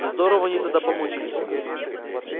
здорово они тогда помучились